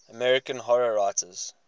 american horror writers